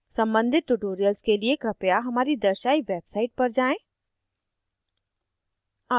सम्बंधित tutorials के लिए कृपया हमारी दर्शायी website पर जाएँ: